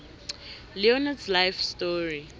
leonardos life story